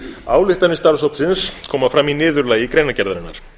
ályktanir starfshópsins koma fram í niðurlagi greinargerðarinnar